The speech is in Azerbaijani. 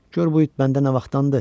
Gör bu it məndə nə vaxtdandır.